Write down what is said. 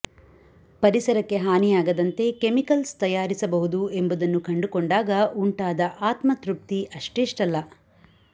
ಪರಿಸರಕ್ಕೆ ಹಾನಿಯಾಗದಂತೆ ಕೆಮಿಕಲ್ಸ್ ತಯಾರಿಸಬಹುದು ಎಂಬುದನ್ನು ಕಂಡುಕೊಂಡಾಗ ಉಂಟಾದ ಆತ್ಮತೃಪ್ತಿ ಅಷ್ಟಿಷ್ಟಲ್ಲ